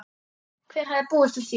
Hver hefði búist við því?